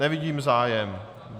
Nevidím zájem.